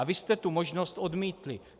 A vy jste tu možnost odmítli.